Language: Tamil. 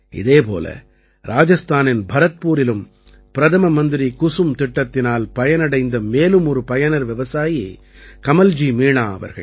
இதே போல இராஜஸ்தானின் பரத்பூரிலும் பிரதம மந்திரி குசும் திட்டத்தினால் பயனடைந்த மேலும் ஒரு பயனர் விவசாயி கமல்ஜி மீணா அவர்கள்